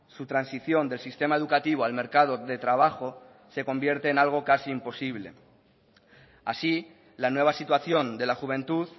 su transición del sistema educativo al mercado de trabajo se convierte en algo casi imposible así la nueva situación de la juventud